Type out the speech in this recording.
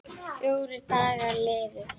Fjórir dagar liðu.